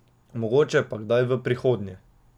Mogoče pa kdaj v prihodnje.